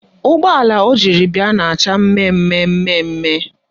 Ụgbọala o jiri bịa na-acha mmemme mmemme